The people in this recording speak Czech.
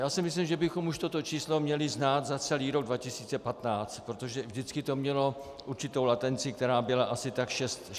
Já si myslím, že bychom už toto číslo měli znát za celý rok 2015, protože vždycky to mělo určitou latenci, která byla asi tak šest týdnů.